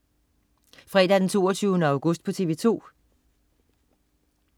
Fredag den 22. august - TV 2: